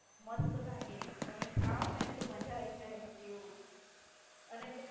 મસ્ત લાગે. તમે ખાવ ને તો મજા આયી જાય તેવું અને